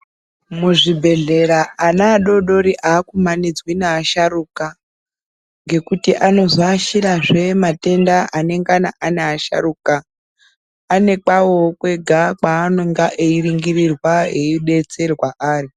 Muzvibhedhlera ana adodori akumanidzwa nevasharukwa nekuti anozoashira zve matenda anengana ane asharukwa ane kwawo kwega kwanenge einingurwa Ari.